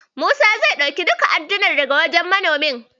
Musa zai karɓi duka addunan daga wajen manomin.